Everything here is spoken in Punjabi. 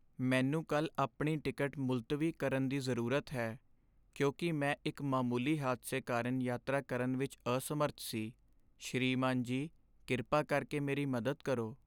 ਮੈਨੂੰ ਕੱਲ੍ਹ ਆਪਣੀ ਟਿਕਟ ਮੁਲਤਵੀ ਕਰਨ ਦੀ ਜ਼ਰੂਰਤ ਹੈ ਕਿਉਂਕਿ ਮੈਂ ਇੱਕ ਮਾਮੂਲੀ ਹਾਦਸੇ ਕਾਰਨ ਯਾਤਰਾ ਕਰਨ ਵਿੱਚ ਅਸਮਰੱਥ ਸੀ। ਸ੍ਰੀਮਾਨ ਜੀ, ਕਿਰਪਾ ਕਰਕੇ ਮੇਰੀ ਮਦਦ ਕਰੋ।